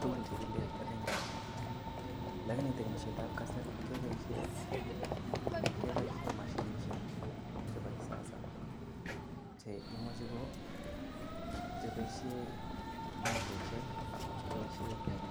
tugun chekile rinkeshiek lakini temisietab kasari kepoishen mashinisiek chebo kisasa cheimuchi kopoishen motaishek ak chepoishen